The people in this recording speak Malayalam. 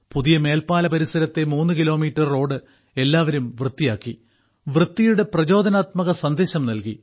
പുതിയ മേൽപ്പാല പരിസരത്തെ മൂന്ന് കിലോമീറ്റർ റോഡ് എല്ലാവരും വൃത്തിയാക്കി വൃത്തിയുടെ പ്രചോദനാത്മക സന്ദേശം നൽകി